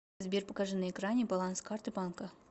сбер покажи на экране баланс карты банка